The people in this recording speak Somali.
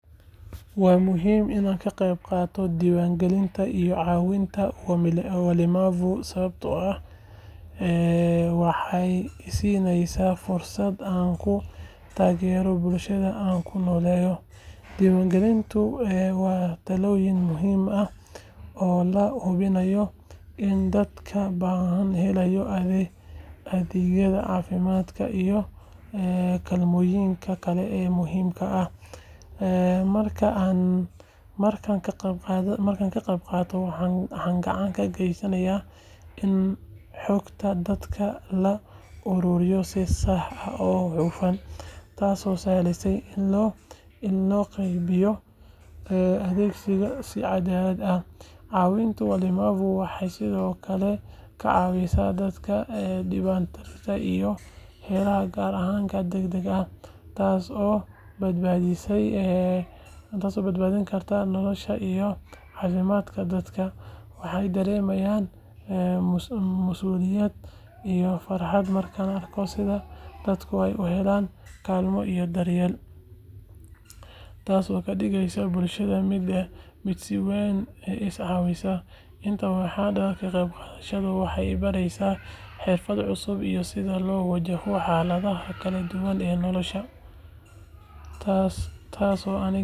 Waa muhiim in aan ka qaybqaato diiwaangelinta iyo caawinta walemavu sababtoo ah waxay i siisaa fursad aan ku taageero bulshada aan ku noolahay. Diiwaangelintu waa tallaabo muhiim ah oo lagu hubinayo in dadka baahan helaan adeegyada caafimaad iyo kaalmooyinka kale ee muhiimka ah. Markaan ka qaybqaato, waxaan gacan ka geysanayaa in xogta dadka la ururiyo si sax ah oo hufan, taasoo sahleysa in loo qaybiyo adeegyada si cadaalad ah. Caawinta walemavu waxay sidoo kale ka caawisaa dadka dhibaateysan inay helaan gargaar degdeg ah, taasoo badbaadin karta nolosha iyo caafimaadka dadka. Waxaan dareemaa masuuliyad iyo farxad markaan arko sida dadku u helaan kaalmo iyo daryeel, taasoo ka dhigaysa bulshada mid mideysan oo is caawisa. Intaa waxaa dheer, ka qaybqaadashadani waxay i baraysaa xirfado cusub iyo sida loo wajaho xaaladaha kala duwan ee nolosha, taasoo aniga iyo dadka.